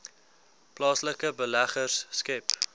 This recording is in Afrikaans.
plaaslike beleggers skep